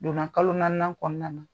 Donna kalo naaninan kɔnɔna na.